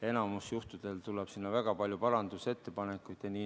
Enamikul juhtudel tuleb väga palju parandusettepanekuid.